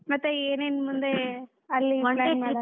ಮತ್ತೆ ಏನ್ ಏನ್ ಮುಂದೆ ಅಲ್ಲಿ .